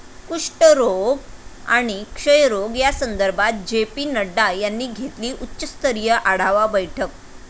कुष्ठरोग आणि क्षयरोग या संदर्भात जे. पी. नड्डा यांनी घेतली उच्चस्तरीय आढावा बैठक